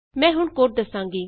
ਮੈਂ ਹੁਣ ਕੋਡ ਦਸਾਂਗੀ